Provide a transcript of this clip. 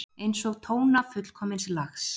Einsog tóna fullkomins lags.